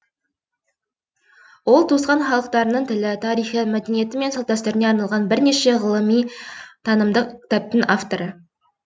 ол туысқан халықтардың тілі тарихы мәдениеті мен салт дәстүріне арналған бірнеше ғылыми танымдық кітаптың авторы